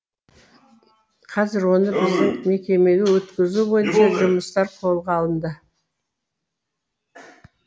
қазір оны біздің мекемеге өткізу бойынша жұмыстар қолға алынды